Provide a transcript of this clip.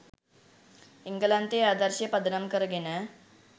එංගලන්තයේ ආදර්ශය පදනම් කරගෙන